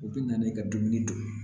U bɛ na n'i ka dumuni tobi ye